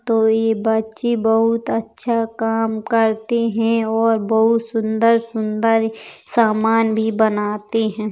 तो ये बच्चे बहुत अच्छा काम करते हैं और बहुत सुन्दर-सुन्दर सामान भी बनाते हैं।